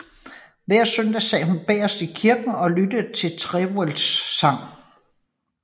Hver søndag sad hun bagerst i kirken og lyttede til Trewhellas sang